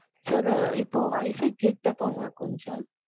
Sir இப்போ WIFI கிட்ட போங்க கொஞ்சம்.